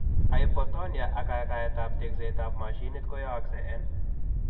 Hypotonia ak kagaet ab tekset ab mashinit koyaaksei en